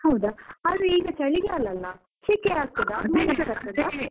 ಹೌದಾ ಆದ್ರೆ ಈಗ ಚಳಿಗಾಲ ಅಲ್ಲ? ಶೆಕೆ ಆಗ್ತದಾ.